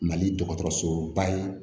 Mali dɔgɔtɔrɔsoba ye